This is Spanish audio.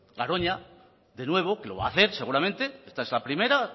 garoña de nuevo que lo va a hacer seguramente esta es la primera